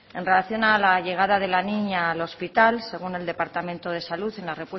cero en relación a la llegada de la niña al hospital según el departamento de salud en la